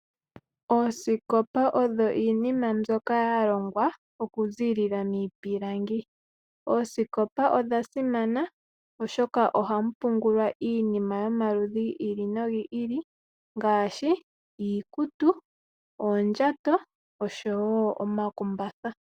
Oosikopa odho iinima mbyoka yalongwa okuza miipilangi. Odha simana, oshoka ohamu pungulwa iinima yomaludhi gi ili nogi ili ngaashi iikutu, oondjato nosho wo omakumbatha.